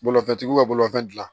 Bolifɛntigiw ka bolifɛn dilan